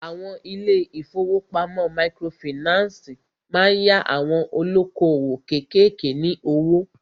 Àwọn ilé ìfọwọ́pamo microfinancii má ń yá àwon olókoòwò kékèké ní owó.